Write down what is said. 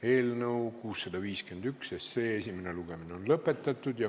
Eelnõu 651 esimene lugemine on lõpetatud.